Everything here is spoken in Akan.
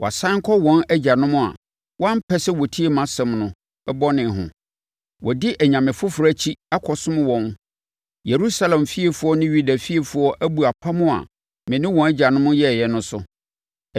Wɔasane kɔ wɔn agyanom a wɔampɛsɛ wɔtie mʼasɛm no, bɔne ho. Wɔadi anyame foforɔ akyi akɔsom wɔn. Yerusalem fiefoɔ ne Yuda fiefoɔ abu apam a me ne wɔn agyanom yɛeɛ no so.